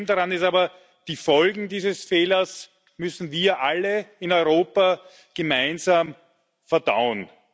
Das Problem daran ist aber Die Folgen dieses Fehlers müssen wir alle in Europa gemeinsam verdauen.